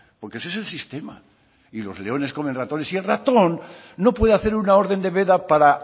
porque así es el sistema y los leones comen ratones y el ratón no puede hacer una orden de veda para